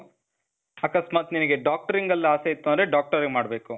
ಅಕಸ್ಮಾತ್ ನಿನಿಗೆ doctoring ಅಲ್ ಆಸೆ ಇತ್ತು ಅಂದ್ರೆ, doctoring ಮಾಡ್ಬೇಕು.